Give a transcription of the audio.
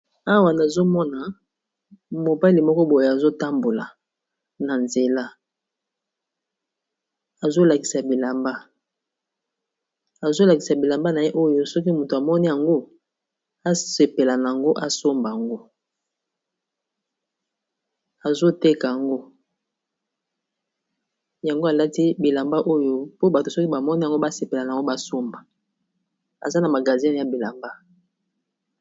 Awa nazomona mobali moko boyo azotambola na nzela, azolakisa bilamba na ye oyo soki moto amoni yango asepela asomba yango, azoteka yango, yango alati bilamba oyo mpo bato soki bamoni yango basepela na yango basomba, aza na magazin ya bilamba.